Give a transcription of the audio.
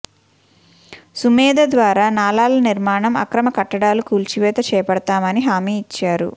సుమేధ ద్వారా నాలల నిర్మాణం అక్రమ కట్టడాలు కూల్చివేత చేపడతామని హామీ ఇచ్చారు